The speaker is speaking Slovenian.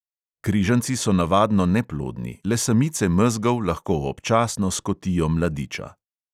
Križanci so navadno neplodni, le samice mezgov lahko občasno skotijo mladiča.